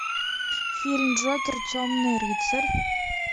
фильм джокер темный рыцарь